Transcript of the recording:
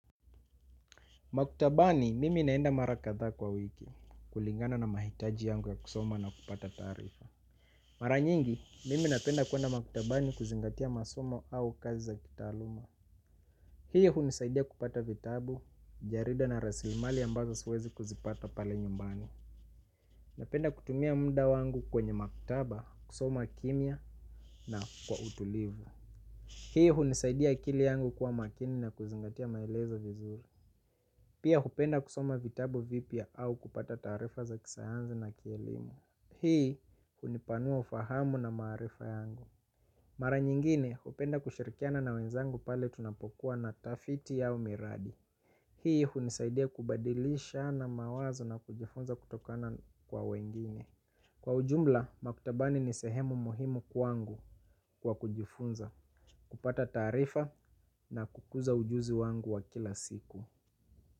Maktabani mimi naenda mara kadha kwa wiki kulingana na mahitaji yangu ya kusoma na kupata tarifa. Maranyingi, mimi napenda kuenda makutabani kuzingatia masomo au kazi za kitaluma. Hii hunisaidia kupata vitabu, jarida na rasimali ambazo siwezi kuzipata pale nyumbani. Napenda kutumia munda wangu kwenye maktaba, kusoma kimia na kwa utulivu. Hii hunisaidia akili yangu kuwa makini na kuzingatia maelezo vizuri. Pia hupenda kusoma vitabu vipia au kupata tarifa za kisayansi na kielimu hii hunipanua ufahamu na marifa yangu. Mara nyingine hupenda kushirikiana na wenzangu pale tunapokuwa na tafiti au miradi. Hii hunisaidia kubadilisha na mawazo na kujifunza kutokana kwa wengine. Kwa ujumba makutabani ni sehemu muhimu kwa wangu kwa kujifunza. Kupata tarifa na kukuza ujuzi wangu wa kila siku.